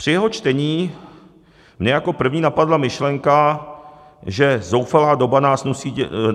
Při jeho čtení mě jako první napadla myšlenka, že zoufalá doba